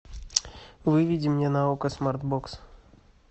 выведи мне на окко смарт бокс